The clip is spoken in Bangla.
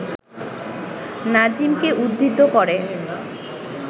নাজিমকে উদ্ধৃত করে